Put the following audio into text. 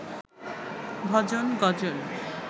ভজন, গজল